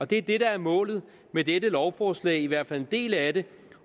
det er det der er målet med dette lovforslag i hvert fald en del af det